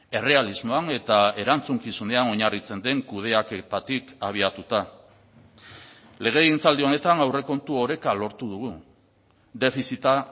errealismoan eta erantzukizunean oinarritzen den kudeaketatik abiatuta legegintzaldi honetan aurrekontu oreka lortu dugu defizita